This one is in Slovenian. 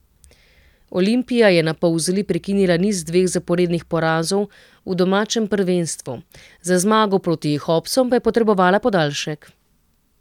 Olimpija je na Polzeli prekinila niz dveh zaporednih porazov v domačem prvenstvu, za zmago proti Hopsom pa je potrebovala podaljšek.